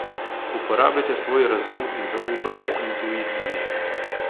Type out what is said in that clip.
Uporabite svoj razum in zaupajte intuiciji.